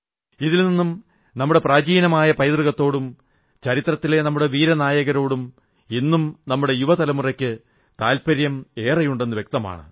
ഇതിൽ നിന്നും നമ്മുടെ പ്രാചീനമായ പൈതൃകത്തോടും ചരിത്രത്തിലെ നമ്മുടെ വീരനായകരോടും ഇന്നും നമ്മുടെ യുവ തലമുറയ്ക്ക് താത്പര്യമേറെയുണ്ടെന്ന് വ്യക്തമാണ്